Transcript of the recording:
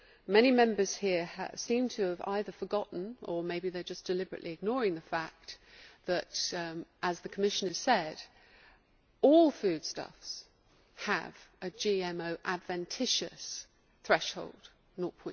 Many Members here seem to have either forgotten or maybe to be deliberately ignoring the fact that, as the Commissioner said, all foodstuffs have a GMO adventitious threshold of